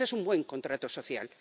Ese es un buen contrato social.